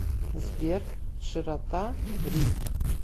сбер широта ри